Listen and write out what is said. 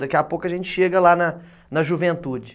Daqui a pouco a gente chega lá na na juventude.